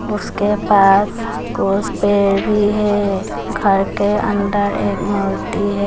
उसके पास कुछ पेड़ भी है घर के अंदर एक मूर्ति है।